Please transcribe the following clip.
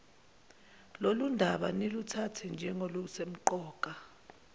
lolundaba niluthathe njengolusemqoka